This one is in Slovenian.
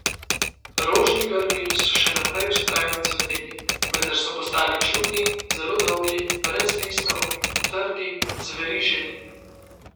Rožni grmi so še naprej vztrajno cveteli, vendar so postali čudni, zelo dolgi, brez listov, trdi, zveriženi.